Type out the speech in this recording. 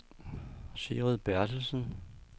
Sigrid Bertelsen